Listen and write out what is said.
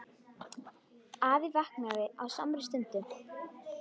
Afi vaknaði á samri stundu.